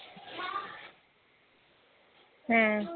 ਹਾਂ